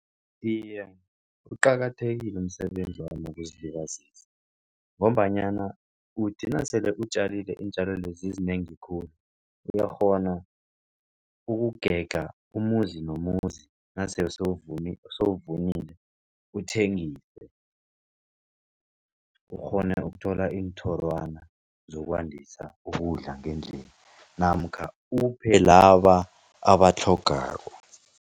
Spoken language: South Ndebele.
Iye, uqakathekile umsebenzi wami wokuzilibazisa, ngombanyana uthi nasele utjalile iintjalo lezi zizinengi khulu uyakghona ukugega umuzi nomuzi nasele sowuvunile uthengise, ukghone ukuthola iinthorwanyana zokwandisa ukudla ngendlini namkha uphe laba abatlhogako.